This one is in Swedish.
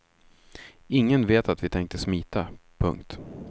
Ingen vet att vi tänkte smita. punkt